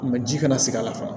ji kana se a la fana